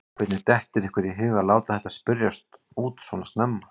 Hvernig dettur ykkur í hug að láta þetta spyrjast út svona snemma?